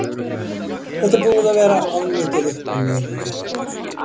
Þetta er búið að vera of mikið upp og niður hjá okkur.